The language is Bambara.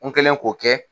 N kɛlen k'o kɛ